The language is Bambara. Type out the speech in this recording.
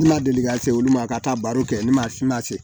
La deli ka se olu ma ka taa baro kɛ ne ma